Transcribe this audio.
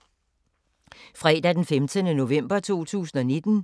Fredag d. 15. november 2019